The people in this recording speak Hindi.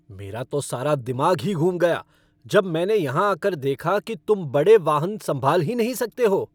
मेरा तो सारा दिमाग ही घूम गया जब मैंने यहां आकर देखा कि तुम बड़े वाहन संभाल ही नहीं सकते हो।